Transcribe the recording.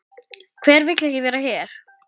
Hver vill ekki vera hér?